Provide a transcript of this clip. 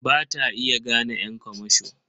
Ba ta iya gane ƴan kamasho.